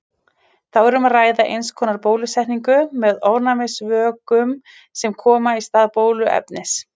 Þá er um að ræða eins konar bólusetningu með ofnæmisvökum sem koma í stað bóluefnis.